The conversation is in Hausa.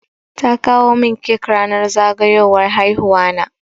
Ta kawo min cake ranar zagayowar haihuwa na.